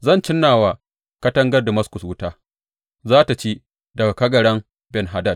Zan cinna wa katangar Damaskus wuta; za tă ci kagaran Ben Hadad.